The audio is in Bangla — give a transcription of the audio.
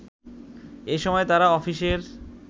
এ সময় তারা অফিসের